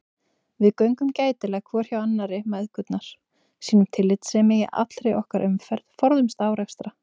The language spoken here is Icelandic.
Við göngum gætilega hvor hjá annarri mæðgurnar, sýnum tillitssemi í allri okkar umferð, forðumst árekstra.